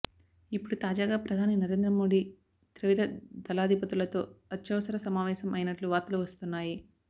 ఇప్పుడు తాజాగా ప్రధాని నరేంద్ర మోడీ త్రివిధ దళాధిపతులతో అత్యవసర సమావేశం అయినట్లు వార్తలు వస్తున్నాయి